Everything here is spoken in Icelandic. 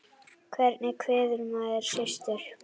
Hvernig kveður maður systur?